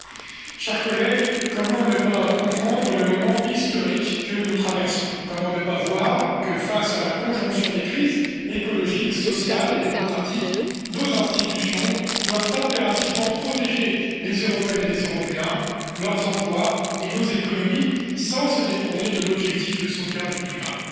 Madame la Présidente, chers collègues, comment ne pas comprendre le moment historique que nous traversons? Comment ne pas voir que, face à la conjonction des crises écologique, sociale et démocratique, nos institutions doivent impérativement protéger les Européennes et les Européens, leurs emplois et nos économies, sans se détourner de l'objectif de sauvegarde du climat?